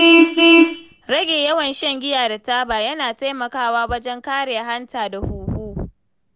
Rage yawan shan giya da taba yana taimakawa wajen kare hanta da huhu.